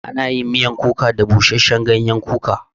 Ana yin miyan kuka da busashen gayen kuka